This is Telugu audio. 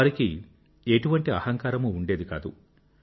వారికి ఎటువంటి అహంకారమూ ఉండేది కాదు